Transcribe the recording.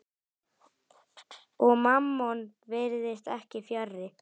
Og Mammon virðist ekki fjarri.